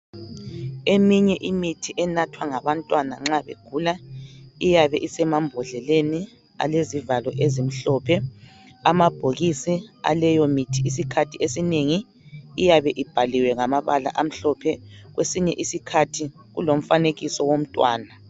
Eminye imithi enathwa ngabantwana nxa begula iyabe isemambhodleleni alezivalo ezimhlophe. Amabhokisi aleyomithi isikhathi esinengi iyabe ibhaliwe ngamabala amhlophe. Kwesinye isikhathi kulomfanekiso womntwana.